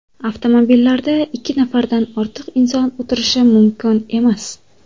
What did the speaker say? Avtomobillarda ikki nafardan ortiq inson o‘tirishi mumkin emas.